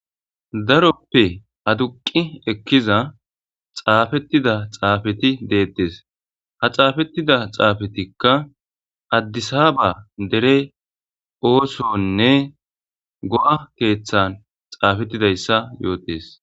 daroppe aduqi ekkiza xaafettida xaafeti deettes ha xaafettida xaafetikka addisaaba dere oosonne go7a keeththan xaafettidayssa yootes